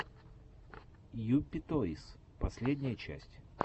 юпи тойс последняя часть